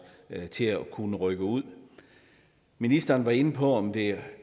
til at kunne rykke ud ministeren var inde på om det